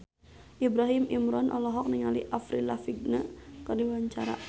Ibrahim Imran olohok ningali Avril Lavigne keur diwawancara